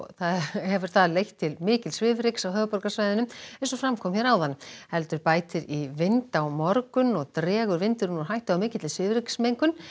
hefur það leitt til mikils svifryks á höfuðborgarsvæðinu eins og fram kom hér áðan heldur bætir í vind á morgun og dregur vindurinn úr hættu á mikilli svifryksmengun